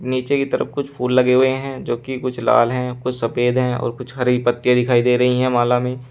नीचे की तरफ कुछ फूल लगे हुए हैं जोकि कुछ लाल है कुछ सफेद है और कुछ हरी पत्तियां दिखाई दे रही हैं माला में--